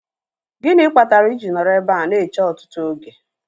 Gịnị kpatara I ji nọrọ ebe a na-eche ọtụtụ oge?